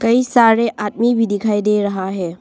कई सारे आदमी भी दिखाई दे रहा है।